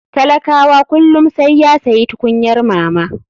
Talakawa kullum saiya sayi tukunyar mama.